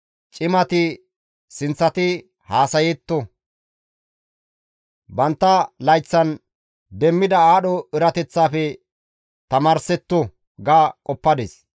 ‹Cimati sinththati haasayetto; bantta layththan demmida aadho erateththafe tamaarsetto› ga qoppadis.